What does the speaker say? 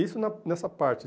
Isso na nessa parte.